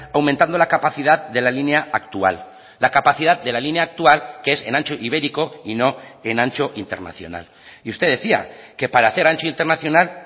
aumentando la capacidad de la línea actual la capacidad de la línea actual que es en ancho ibérico y no en ancho internacional y usted decía que para hacer ancho internacional